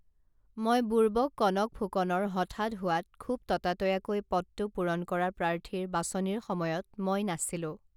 মই বুৰ্বক কনক ফুকনৰ হঠাৎ হোৱাত খুব ততাতৈয়াকৈ পদটো পূৰণ কৰা প্ৰাৰ্থীৰ বাচনিৰ সময়ত মই নাছিলো